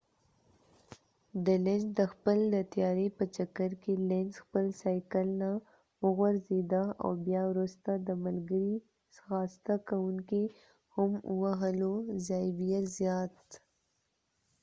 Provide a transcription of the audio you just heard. د خپل د تیاری په چکر کې لینز lenz د خپل سایکل نه وغورځیده او بیا وروسته د ملګری ځغاسته کوونکې زاوير زایات zavier zayat هم ووهلو